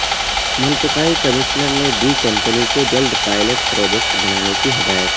منطقائی commissioner نے دی company کو جلد پائلٹ پروجیکٹ بنانے کی ہدایت